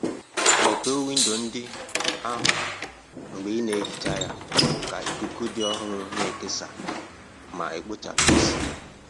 Mepee windo ndị ahụ mgbe ị na-ehicha ya ka ikuku dị ọhụrụ na-ekesa ma kpochapụ ísì.